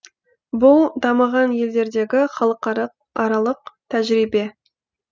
бұл дамыған елдердегі халықаралық тәжірибе